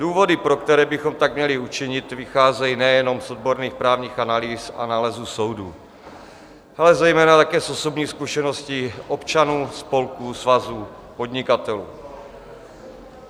Důvody, pro které bychom tak měli učinit, vycházejí nejenom z odborných právních analýz a nálezů soudů, ale zejména také z osobní zkušenosti občanů, spolků, svazů, podnikatelů.